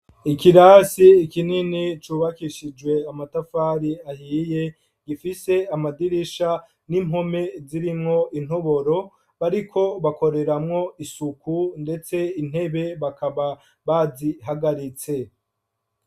Ikirasi ikinini cubakishijwe amatafari ahiye gifise amadirisha n'impome zirimwo intoboro bariko bakoreramwo isuku ndetse intebe bakaba bazihagaritse.